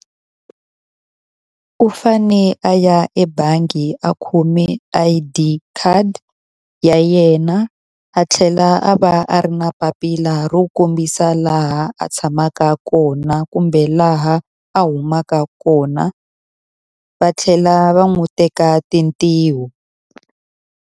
U fanele a ya ebangi a khome I_D khadi ya yena, a tlhela a va a ri na papila ro kombisa laha a tshamaka kona kumbe laha a humaka kona, va tlhela va n'wi teka tintiho.